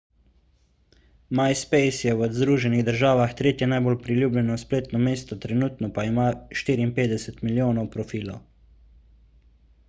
myspace je v združenih državah tretje najbolj priljubljeno spletno mesto trenutno pa ima 54 milijonov profilov